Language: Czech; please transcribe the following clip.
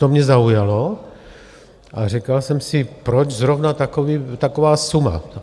To mě zaujalo a říkal jsem si, proč zrovna taková suma?